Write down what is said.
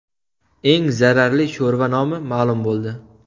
Eng zararli sho‘rva nomi ma’lum bo‘ldi.